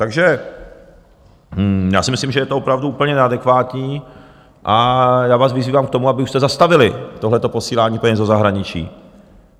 Takže já si myslím, že je to opravdu úplně neadekvátní, a já vás vyzývám k tomu, abyste už zastavili tohleto posílání peněz do zahraničí.